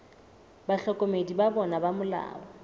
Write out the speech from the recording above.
bahlokomedi ba bona ba molao